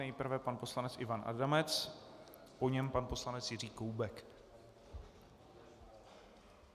Nejprve pan poslanec Ivan Adamec, po něm pan poslanec Jiří Koubek.